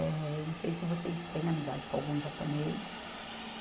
Eh, eu não sei se vocês têm amizade com algum japonês.